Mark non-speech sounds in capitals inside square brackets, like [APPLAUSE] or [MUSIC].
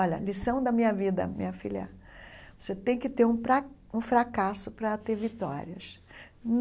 Olha, lição da minha vida, minha filha, você tem que ter um [UNINTELLIGIBLE] um fracasso para ter vitórias.